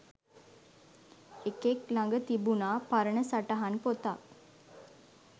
එකෙක් ලග තිබුනා පරණ සටහන් පොතක්.